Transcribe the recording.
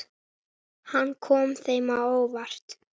Hann kom þeim á óvart.